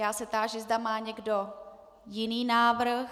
Já se táži, zda má někdo jiný návrh.